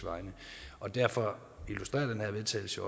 derfor illustrerer den her vedtagelse